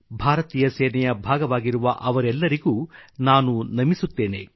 ಭಾರತೀಯ ಸೇನೆಯ ಭಾಗವಾಗಿರುವ ಅವರೆಲ್ಲರಿಗೂ ನಾನು ನಮಿಸುತ್ತೇನೆ